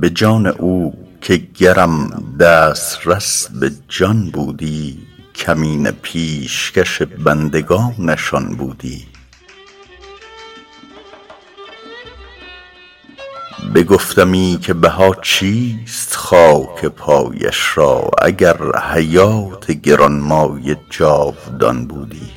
به جان او که گرم دسترس به جان بودی کمینه پیشکش بندگانش آن بودی بگفتمی که بها چیست خاک پایش را اگر حیات گران مایه جاودان بودی